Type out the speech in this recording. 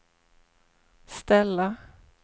ställa